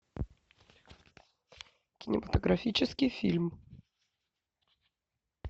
кинематографический фильм